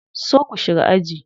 So ku shiga aji.